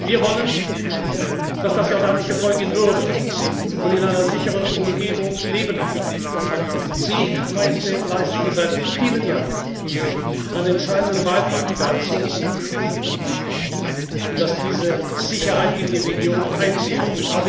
Wir wollen, dass das jordanische Volk in Würde und in einer sicheren Umgebung leben kann. Sie, Majestät, leisten seit vielen Jahren einen entscheidenden Beitrag dazu, dass diese Sicherheit in die Region einkehrt.